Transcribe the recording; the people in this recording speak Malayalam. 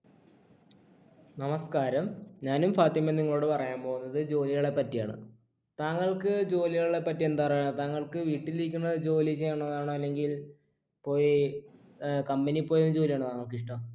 നമസ്കാരം ഞാനും ഫാത്തിമയും ഇന്ന് നിങ്ങളോട് പറയാൻ പോകുന്നത് ജോലികളെ പറ്റിയാണ് താങ്കള്‍ക്ക് ജോലികളെ പറ്റി എന്താ പറയാ താങ്കൾക്ക് വീട്ടിലിരിക്കുന്ന ജോലി ചെയ്യണോന്നാണോ അല്ലെങ്കിൽ പോയി ഏർ company പോയി ജോലിയെയുന്നാണോ താങ്കൾക്ക് ഇഷ്ട്ടം